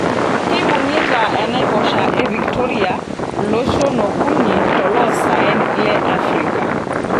Keibungita enaiposha e Victoria loshon okuni toloosaen le Africa.